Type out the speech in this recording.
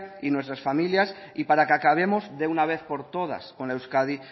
y nuestras familias y para que acabemos de una vez por todas con la euskadi